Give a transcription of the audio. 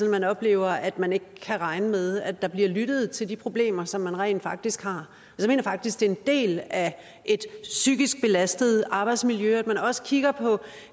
man oplever at man ikke kan regne med at der bliver lyttet til de problemer som man rent faktisk har jeg mener faktisk at det er en del af et psykisk belastet arbejdsmiljø at man også kigger på